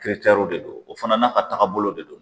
de do o fana n'a ka tagabolo de do.